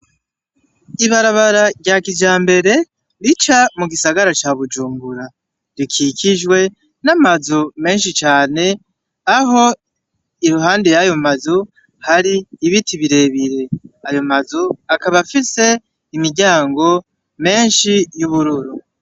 Ibarabara rya kijambere rica mu gisagara ca Bujumbura, rikikijwe n'amazu menshi cane aho iruhande y'ayo mazu hari ibiti bire bire. Ayo mazu akaba afise imiryango myinshi y'ubururu.